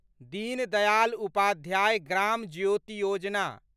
Deen Dayal Upadhyay Gram Jyoti Yojana